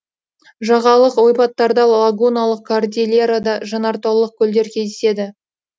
жағалық ойпаттарда лагуналық кордильерада жанартаулық көлдер кездеседі